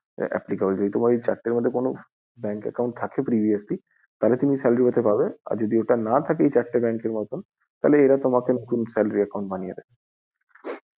যদি এই চারটি bank এর মধ্যে bank account থাকে তাহলে তুমি salary জন্য দিতে পারো, আর যদি এই চারটি bank মধ্যে না থাকে তাহলে নতুন salary account বানিয়ে দেবে।